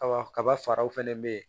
Kaba kaba faraw fɛnɛ bɛ yen